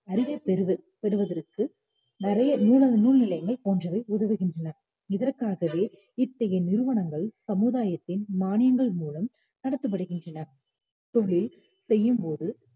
அறிவைப் பெறுது~ பெறுவதற்கு நிறைய நூலகங்கள் நூல்நிலையங்கள் போன்றவை உதவுகின்றன. இதற்காகவே இத்தகைய நிறுவனங்கள் சமுதாயத்தின் மானியங்கள் மூலம் நடத்தப்படுகின்றன தொழில் செய்யும்போது